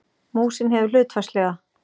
Músin hefur hlutfallslega